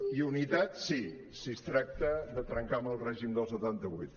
i unitat sí si es tracta de trencar amb el règim del setanta vuit